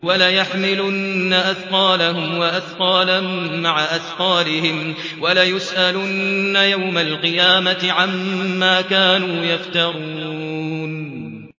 وَلَيَحْمِلُنَّ أَثْقَالَهُمْ وَأَثْقَالًا مَّعَ أَثْقَالِهِمْ ۖ وَلَيُسْأَلُنَّ يَوْمَ الْقِيَامَةِ عَمَّا كَانُوا يَفْتَرُونَ